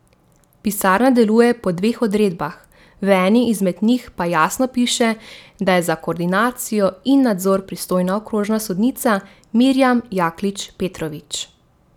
Pisarna deluje po dveh odredbah, v eni izmed njih pa jasno piše, da je za koordinacijo in nadzor pristojna okrožna sodnica Mirijam Jaklič Petrovič.